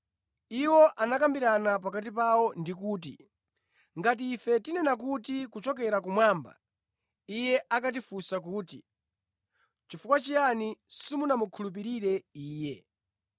Iwo anakambirana pakati pawo ndikuti, “Ngati ife tinena kuti, ‘Kuchokera kumwamba’ Iye akatifunsa kuti, ‘chifukwa chiyani simunamukhulupirire iye?’